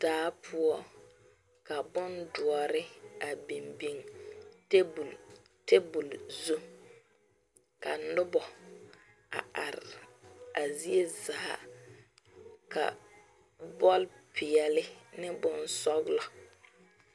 Daa poɔ ka bondoɔre a biŋ biŋ table table zu ka noba a are a zie zaa ka bɔl peɛle ane bonsɔglɔ.